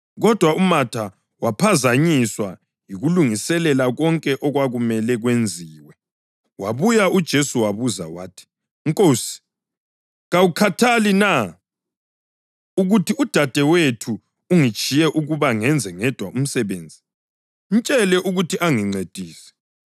Kodwa uMatha waphazanyiswa yikulungiselela konke okwakumele kwenziwe. Wabuya kuJesu wabuza wathi, “Nkosi, kawukhathali na ukuthi udadewethu ungitshiye ukuba ngenze ngedwa umsebenzi? Mtshele ukuthi angincedise!”